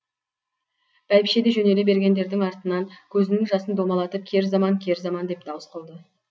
бәйбіше де жөнеле бергендердің артынан көзінің жасын домалатып кер заман кер заман деп дауыс қылды